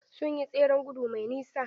Sun yi tseren gudu mai nisa.